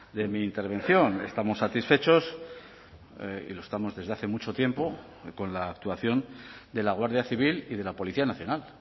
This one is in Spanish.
de mi intervención estamos satisfechos y lo estamos desde hace mucho tiempo con la actuación de la guardia civil y de la policía nacional